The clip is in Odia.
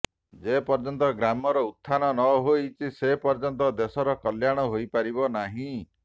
ଯେ ପର୍ଯ୍ୟନ୍ତ ଗ୍ରାମର ଉତ୍ଥାନ ନ ହୋଇଛି ସେ ପର୍ଯ୍ୟନ୍ତ ଦେଶର କଲ୍ୟାଣ ହୋଇ ପାରିବ ନାହିଁ